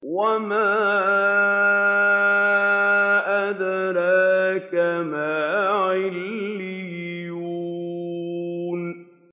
وَمَا أَدْرَاكَ مَا عِلِّيُّونَ